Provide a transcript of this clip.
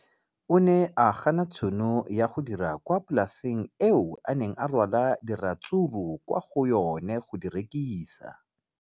O ne a gana tšhono ya go dira kwa polaseng eo a neng rwala diratsuru kwa go yona go di rekisa.